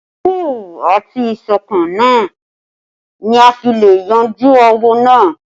Sùúrù àti ìṣọ̀kan ni a fi le yanjú áwọ̀ náà